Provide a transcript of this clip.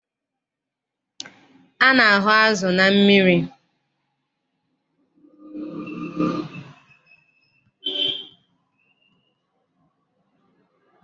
A na-ahụ azụ na mmiri.